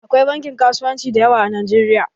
Akwai bankin kasuwanci da yawa a Najeriya